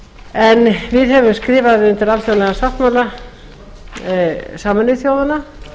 en við höfum skrifað undir alþjóðlegan sáttmála sameinuðu þjóðanna